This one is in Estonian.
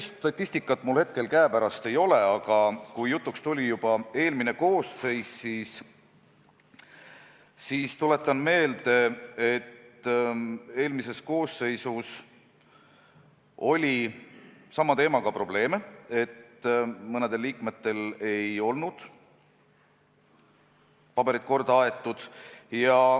Sellist statistikat mul hetkel käepärast ei ole, aga kui juba jutuks tuli, siis tuletan meelde, et eelmises koosseisus oli sama teemaga probleeme – mõnedel liikmetel ei olnud paberid korda aetud.